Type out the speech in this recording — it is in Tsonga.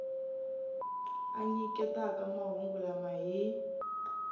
a nyiketaka mahungu lama hi